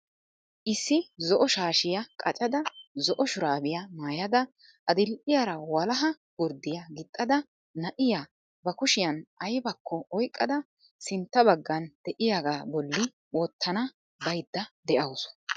Issi zo"o shaashshiya qaccada, zo"o shuraabiya maayada, adil''iyaara walaha gurddiyaa gixxida na'iyaa ba kushiyaan aybbakko oyqqada sintta baggan de'iyaaga bolli wottana baydda de'awusu.